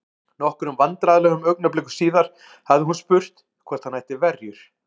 Nokkrum vandræðalegum augnablikum síðar hafði hún spurt hvort hann ætti verjur?